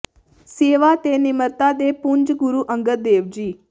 ਸੇਵਾ ਤੇ ਨਿਮਰਤਾ ਦੇ ਪੁੰਜ ਗੁਰੂ ਅੰਗਦ ਦੇਵ ਜੀ